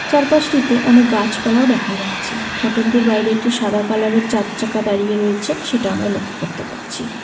চারপাশটিতে অনেক গাছপালাও দেখা যাচ্ছে হোটেলটির বাইরে একটি সাদা কালারের চাচ্চাকা দাঁড়িয়ে রয়েছে সেটা আমরা লক্ষ করতে পাচ্ছি।